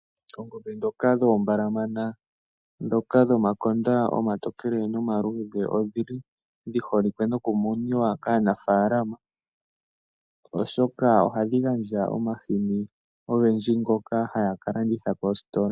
Oongombe dhoka dhoombalamana dhoka dhomakonda omatokele nomaluudhe, odhili dhi holikwe noku muniwa kaanafalama oshoka odhili hadhi gandja omahini ogendji ngoka haya ka landitha koositola.